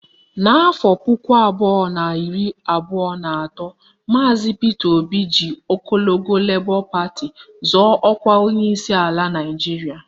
N'afọ puku abụọ na iri abụọ na atọ, maazi Pita Obi ji ọkọlọtọ Lebọ pati zọọ ọkwa onyeisi ala Naịjiria